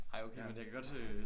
Ej okay men jeg kan godt øh